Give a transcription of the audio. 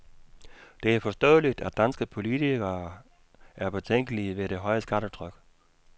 Det er forståeligt, at danske politikere er betænkelige ved det høje skattetryk.